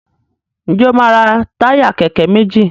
Njé o ma ra Táyà kéké méjì